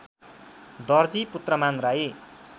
Darji Putraman Rai